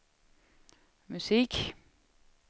musik